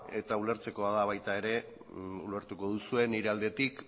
eta ulertzekoa da baita ere ulertuko duzue nire aldetik